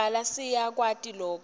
kubhala siyakwati loku